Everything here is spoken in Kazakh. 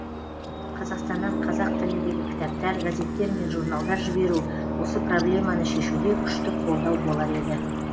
қазақстаннан қазақ тіліндегі кітаптар газеттер мен журналдар жіберу осы проблеманы шешуде күшті қолдау болар еді